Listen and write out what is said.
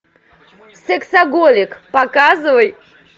сексоголик показывай